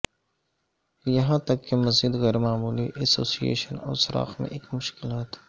یہاں تک کہ مزید غیر معمولی ایسوسی ایشن اور سوراخ میں ایک مشکلات